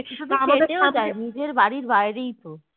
নিজের বাড়ির বাইরেই তো